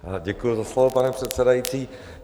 Děkuji za slovo, pane předsedající.